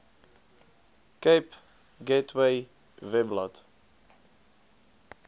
cape gateway webblad